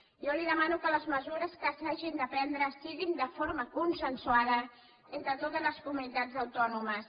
jo li demano que les mesures que s’hagin de prendre siguin de forma consensuada entre totes les comunitats autònomes